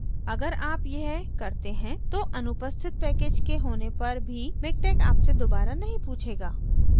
अगर आप यह करते हैं तो अनुपस्थित package के होने पर भी miktex आपसे दोबारा नहीं पूछेगा